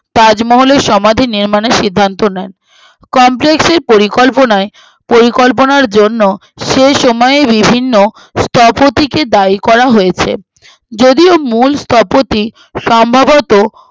তাজমহলের সমাধি নির্মাণের সিদ্ধান্তের নেয় complex এর পরিকল্পনায় পরিকল্পনার জন্য সেসময়ে বিভিন্ন স্থপতিকে দায়ী করা হয়েছে যদিও মূল স্থপতি সম্ভাবত